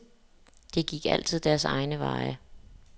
De gik altid deres egne veje.